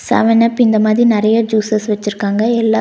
seven up இந்த மாதி நெறைய ஜூஸஸ் வெச்சுருக்காங்க எல்லா--